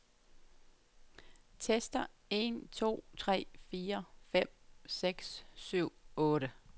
Tester en to tre fire fem seks syv otte.